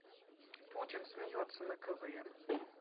путин смеется на квн